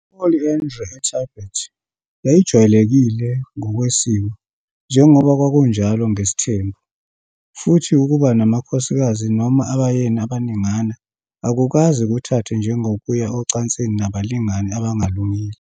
I-Polyandry eTibet yayijwayelekile ngokwesiko, njengoba kwakunjalo ngesithembu, futhi ukuba namakhosikazi noma abayeni abaningana akukaze kuthathwe njengokuya ocansini nabalingani abangalungile.